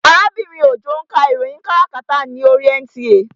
Arábìnrin Òjó ń ka ìròyìn káràkátà ní oríi NTA